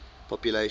population